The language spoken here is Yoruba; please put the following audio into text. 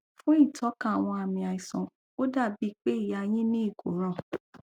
fún ìtọka àwọn àmì àìsàn ó dà bí i pé ìyá yín ní ìkóràn